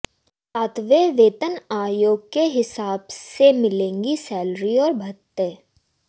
सातवें वेतन आयोग के हिसाब से मिलेगी सैलरी और भत्ते